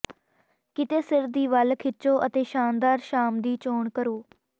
ਕਿਤੇ ਸਿਰ ਦੀ ਵੱਲ ਖਿੱਚੋ ਅਤੇ ਸ਼ਾਨਦਾਰ ਸ਼ਾਮ ਦੀ ਚੋਣ ਕਰੋ